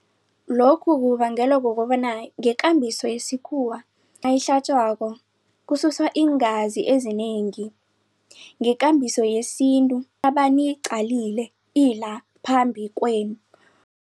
Lokhu kubangelwa kukobana ngekambiso yesikhuwa anayihlatjwako kususwa iingazi ezinengi. Ngekambiso yesintu niyiqalile ila phambi kwenu.